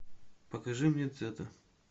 покажи мне цетр